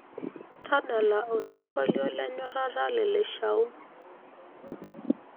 tadala osingolio le nyorrata le lashao